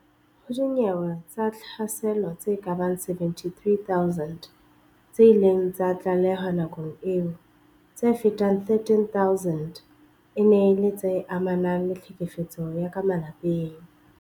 Ho dinyewe tsa tlhaselo tse kabang 73 000 tse ileng tsa tlalehwa nakong eo, tse fetang 13000 e ne e le tse amanang le tlhekefetso ya ka malapeng.